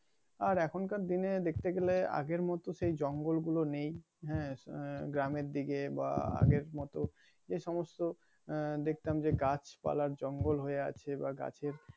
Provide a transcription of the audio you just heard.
আর এখন কার দিনে দেখতে গেলে আগের মত সেই জঙ্গল গুলো নেই হ্যাঁ গ্রামের দিকে বা আগের মত সে সমস্ত আহ দেখতাম যে গাছপালা জঙ্গল হয়ে আছে বা গাছের